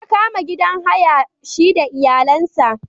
Ya kama gidan haya shi da iyalansa.